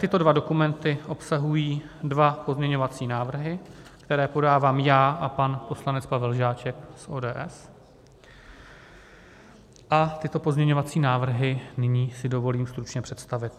Tyto dva dokumenty obsahují dva pozměňovací návrhy, které podávám já a pan poslanec Pavel Žáček z ODS a tyto pozměňovací návrhy nyní si dovolím stručně představit.